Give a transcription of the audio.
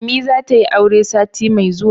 ummi za ta yi aure sati mai zuwa